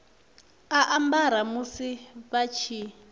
a ambara musi vha tshi